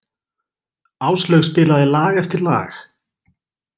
Áslaug spilaði lag eftir lag.